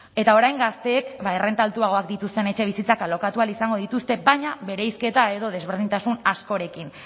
eta orain gazteek errenta altuagoak dituzten etxebizitzak alokatu ahal izango dituzte baina bereizketa edo desberdintasun askorekin